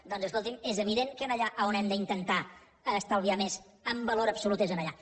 doncs escolti’m és evident que allà on hem d’intentar estalviar més en valor absolut és allà